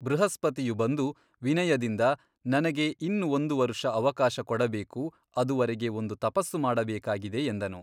ಬೃಹಸ್ಪತಿಯು ಬಂದು ವಿನಯದಿಂದ ನನಗೆ ಇನ್ನು ಒಂದು ವರುಷ ಅವಕಾಶ ಕೊಡಬೇಕು ಅದುವರೆಗೆ ಒಂದು ತಪಸ್ಸು ಮಾಡಬೇಕಾಗಿದೆ ಎಂದನು.